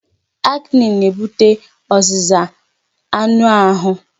Acne na-ebute ọzịza anụ ahụ